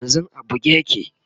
yanzun a buge yake